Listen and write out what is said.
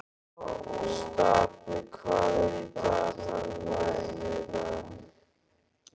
Stapi, hvað er í dagatalinu mínu í dag?